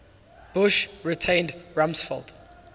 bush retained rumsfeld